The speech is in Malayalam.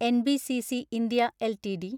NBCC (India) LTD